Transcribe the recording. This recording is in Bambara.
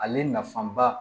Ale naf